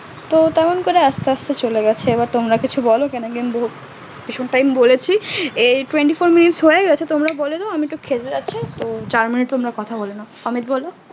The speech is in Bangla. তো তেমন করে আসতে আসতে চলে গেছে এবার তোমরা কিছু বলো ভীষণ time বলেছি twenty four minutes হয়েগেছে তোমরা বলেদাও আমি তো খেতে যাচ্ছি যার মানে তোমরা কথা বলে নাও অমিত বলো